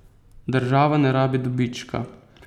Država ne rabi dobička.